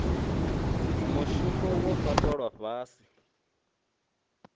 mushumo wo fhaṱwa lwa fhasi